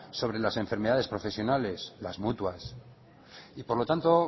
sobre las enfermedades profesionales las mutuas y por lo tanto